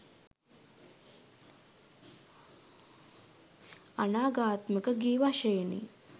අනාඝාතාත්මක ගී වශයෙනි.